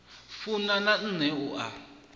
funa na nṋe u a